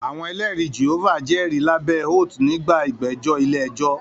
Àwọn Ẹlẹ́rìí Jèhófà jẹ́rìí lábẹ́ oat nígbà ìgbẹ́jọ́ ilé ẹjọ́